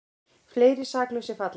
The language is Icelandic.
Fleiri saklausir falla